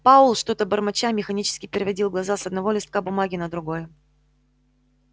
пауэлл что-то бормоча механически переводил глаза с одного листка бумаги на другой